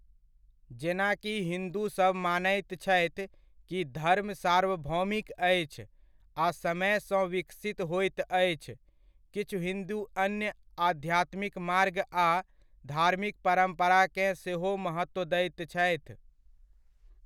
जेनाकि हिन्दु सब मानैत छथि कि धर्म सार्वभौमिक अछि आ समय सँ विकसित होइत अछि, किछु हिन्दु अन्य आध्यात्मिक मार्ग आ धार्मिक परम्पराकेँ सेहो महत्व दैत छथि।